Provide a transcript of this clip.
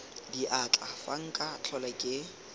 diatla fa nka tlhola ke